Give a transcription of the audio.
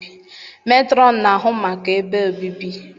Metrọn na-ahụ maka ebe obibi